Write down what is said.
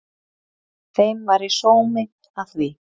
Þeim væri sómi að því